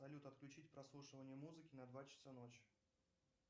салют отключить прослушивание музыки на два часа ночи